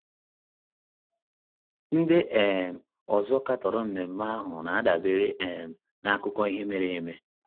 Ndị um ọzọ katọrọ ememe ahụ na - adabere um n’akụkọ ihe mere eme.